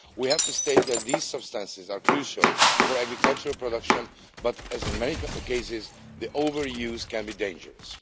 We have to state that these substances are crucial for agricultural production, but, as in many cases, their overuse can be dangerous.